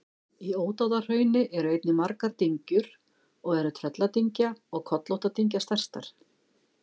Í Ódáðahrauni eru einnig margar dyngjur og eru Trölladyngja og Kollóttadyngja stærstar.